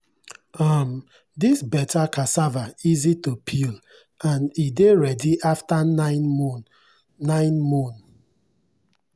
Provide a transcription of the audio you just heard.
um this better cassava easy to peel and e dey ready after nine moon. nine moon.